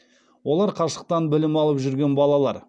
олар қашықтан білім алып жүрген балалар